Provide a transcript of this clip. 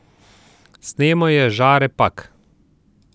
Snemal je Žare Pak.